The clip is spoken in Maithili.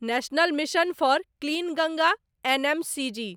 national mission for clean Ganga NMCG